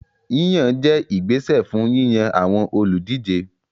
Yíyàn jẹ́ ìgbésẹ̀ fún yíyan àwọn olùdíje